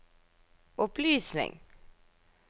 opplysning